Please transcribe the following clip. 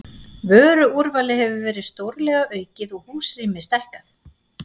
Vöruúrvalið hefur verið stórlega aukið og húsrými stækkað.